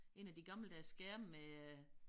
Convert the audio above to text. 1 af de gammeldags skærme med øh